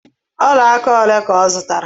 Olaaka ole ka ọ zụtara?